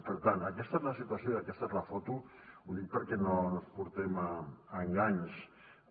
per tant aquesta és la situació i aquesta és la foto ho dic perquè no ens enganyem